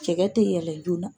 Cɛgɛ tɛ yɛlɛ joona